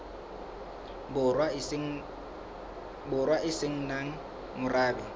borwa e se nang morabe